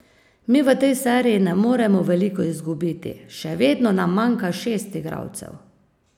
Mi v tej seriji ne moremo veliko izgubiti, še vedno nam manjka šest igralcev.